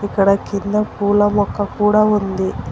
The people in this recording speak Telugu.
ఇక్కడ కింద పూల మొక్క కూడా ఉంది.